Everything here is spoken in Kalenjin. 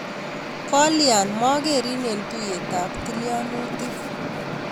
Kolya makerin eng tuyetab tilianutik